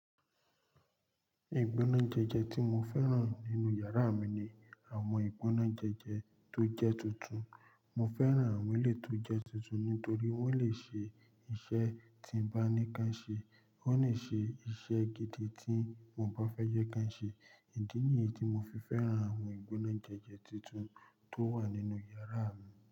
Ìgbóná jẹjẹ tí mo fẹ́ràn nínú yàrá mi ni àwọn ìgbóná jẹjẹ tó jẹ́ tuntun. Mo fẹ́ràn àwọn ilé tó jẹ́ tuntun nítorí wọ́n lè ṣe iṣẹ́ tí n bá ní ká ṣe, wọ́n lè ṣe iṣẹ́ gidi tí mo bá fẹ́ jẹ́ ká ṣe. Idí ni èyí tí mo fi fẹ́ràn àwọn ìgbóná jẹjẹ tuntun tó wà nínú yàrá mi.